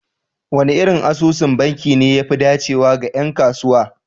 Wane irin asusun banki ne ya fi dacewa ga 'yan kasuwa?